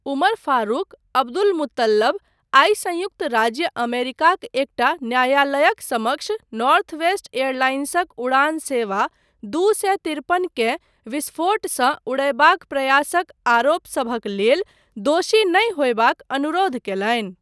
उमर Farouk Abdulmutallab आइ संयुक्त राज्य अमेरिकाक एकटा न्यायालयक समक्ष नॉर्थवेस्ट एयरलाइंसक उड़ान सेवा दू सए तिरपनकेँ विस्फोटसँ उड़यबाक प्रयासक आरोपसभक लेल 'दोषी नहि' होयबाक अनुरोध कयलनि।